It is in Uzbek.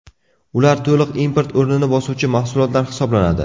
Ular to‘liq import o‘rnini bosuvchi mahsulotlar hisoblanadi.